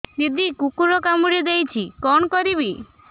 ଦିଦି କୁକୁର କାମୁଡି ଦେଇଛି କଣ କରିବି